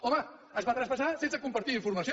home es va traspassar sense compartir informació